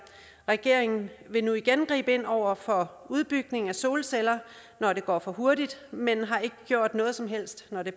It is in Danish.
regeringen vil nu igen gribe ind over for udbygningen af solceller når det går for hurtigt men har ikke gjort noget som helst når det